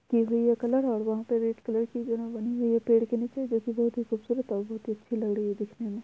की हुई है कलर और वहाँ पे रेड कलर की बनी हुई है पेड़ के नीचे जो की बहुत खूबसूरत है। बहुत ही अच्छी लग रही है दिखने में।